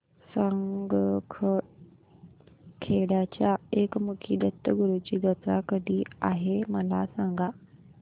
सारंगखेड्याच्या एकमुखी दत्तगुरूंची जत्रा कधी आहे मला सांगा